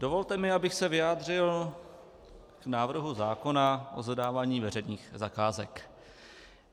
Dovolte mi, abych se vyjádřil k návrhu zákona o zadávání veřejných zakázek.